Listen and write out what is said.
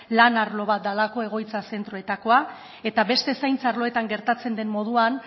lan arlo bat delako egoitza zentroetakoa eta beste zaintza arloetan gertatzen den moduan